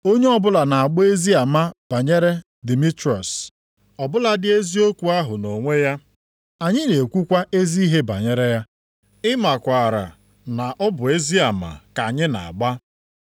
Onye ọbụla na-agba ezi ama banyere Dimitriọs ọ bụladị eziokwu ahụ nʼonwe ya. Anyị na-ekwukwa ezi ihe banyere ya. Ị makwaara na ọ bụ ezi ama ka anyị na-agba.